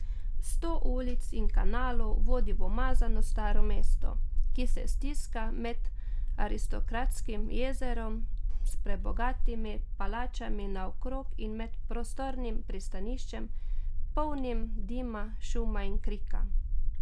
Sto ulic in kanalov vodi v umazano staro mesto, ki se stiska med aristokratskim jezerom s prebogatimi palačami naokrog in med prostornim pristaniščem, polnim dima, šuma in krika.